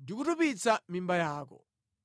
ndi kutupitsa mimba yako.